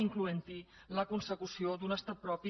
incloent hi la consecució d’un estat propi